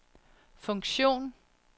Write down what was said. funktion